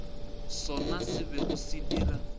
sona se bego se dira